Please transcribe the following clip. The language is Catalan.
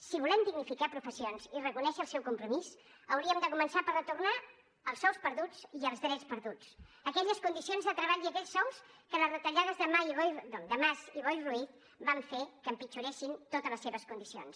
si volem dignificar professions i reconèixer el seu compromís hauríem de començar per retornar els sous perduts i els drets perduts aquelles condicions de treball i aquells sous que les retallades de mas i boi ruiz van fer que empitjoressin totes les seves condicions